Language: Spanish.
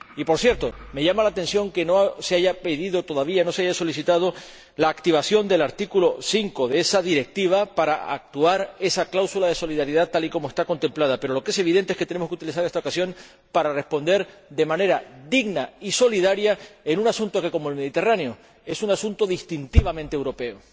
Y, por cierto, me llama la atención que no se haya pedido todavía, no se haya solicitado, la activación del artículo 5 de esa Directiva para aplicar esa cláusula de solidaridad tal y como está contemplada, pero lo que es evidente es que tenemos que utilizar esta ocasión para responder de manera digna y solidaria en un asunto que, como el Mediterráneo, es un asunto distintivamente europeo.